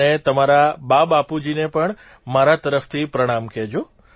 અને તમારા બાબાપુજીને પણ મારા તરફથી પ્રણામ કહેજો